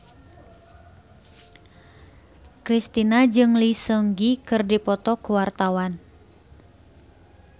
Kristina jeung Lee Seung Gi keur dipoto ku wartawan